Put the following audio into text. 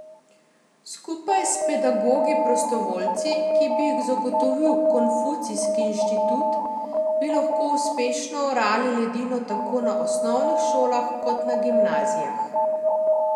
Skupaj s pedagogi prostovoljci, ki bi jih zagotovil Konfucijski inštitut, bi lahko uspešno orali ledino tako na osnovnih šolah kot na gimnazijah.